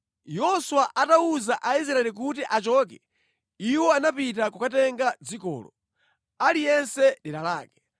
Yoswa atawuza Aisraeli kuti achoke, iwo anapita kukatenga dzikolo, aliyense dera lake.